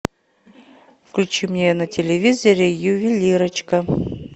включи мне на телевизоре ювелирочка